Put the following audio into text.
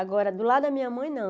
Agora, do lado da minha mãe, não.